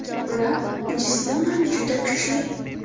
Ular jismonan juda kuchli.